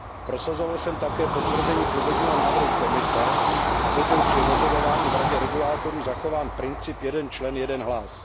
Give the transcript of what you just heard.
Prosazoval jsem také potvrzení původního návrhu Komise, aby byl při rozhodování v Radě regulátorů zachován princip jeden člen, jeden hlas.